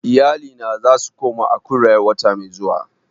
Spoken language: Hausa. Iyalina za su koma Akure wata mai zuwa